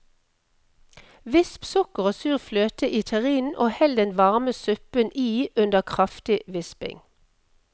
Visp sukker og sur fløte i terrinen og hell den varme suppen i under kraftig visping.